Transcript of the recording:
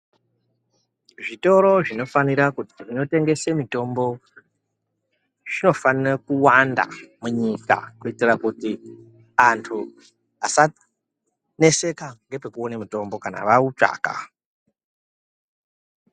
Zvitoro zvinofanira zvinotengese mitombo zvinofanire kuwanda munyika kuitira kuti andu asaneseka ngepekuona mutombo kana vautsvaka.